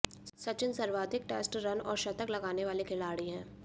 सचिन सर्वाधिक test run और शतक लगाने वाले खिलाड़ी हैं